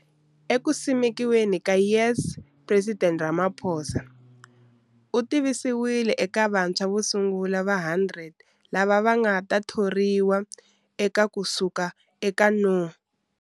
Eku simekiweni ka YES Presidente Ramaphosa u tivisiwile eka vantshwa vo sungula va 100 lava va nga ta thoriwa eka ku suka eka no.